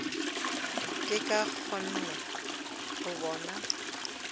ke sa kgone go bona